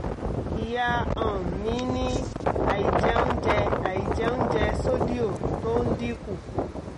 ìyá um mi ní àìjẹunjẹ àìjẹunjẹ́ sódíò tó ń dín kù